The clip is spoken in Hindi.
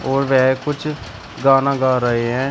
और वह कुछ गाना गा रहे हैं।